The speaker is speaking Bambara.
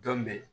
Dɔn bɛ